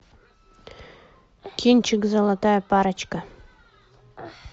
кинчик золотая парочка